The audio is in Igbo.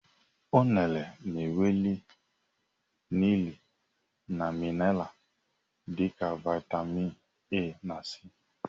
Unere nwere nri na minara dị ka viatamịn A na c.